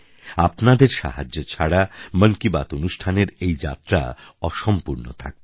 আপনাদের সাহায্য ছাড়া মন কি বাত অনুষ্ঠানের এই যাত্রা অসম্পূর্ণ থাকতো